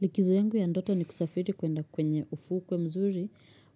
Likizo yangu ya ndoto ni kusafiri kwenda kwenye ufukwe mzuri,